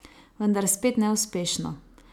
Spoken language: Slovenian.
Vendar spet neuspešno.